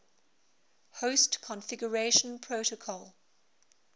host configuration protocol